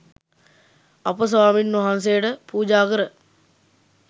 අප ස්වාමීන් වහන්සේට පූජා කර